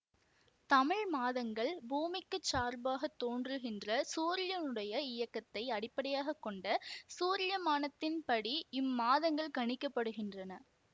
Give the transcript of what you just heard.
தமிழ் மாதங்கள் பூமிக்கு சார்பாகத் தோற்றுகின்ற சூரியனுடைய இயக்கத்தை அடிப்படையாக கொண்ட சூரியமானத்தின் படி இம்மாதங்கள் கணிக்கப்படுகின்றன